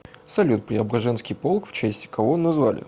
салют преображенский полк в честь кого назвали